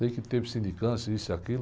Sei que teve sindicância, e isso e aquilo.